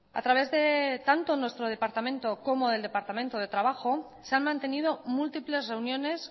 a través de tanto nuestro departamento como el departamento de trabajo se han mantenido múltiples reuniones